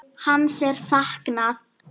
Hans er saknað.